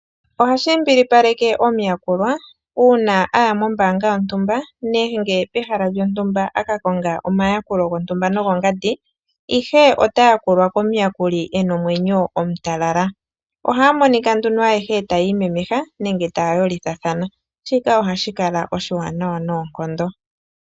Ohashi mbilipaleke omuyakulwa uuna aya moombanga yontumba nenge pehala lyontumba a ka konga omayakulo gontumba nogongandi, ihe ota yakulwa komuyakuli e na omwenyo omutalala. Ohaya monika nduno ayehe tayi imemeha nenge taya yolithathana, shika ohashi kala oshiwanawa noonkondo.